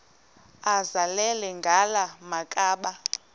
azele ngala makhaba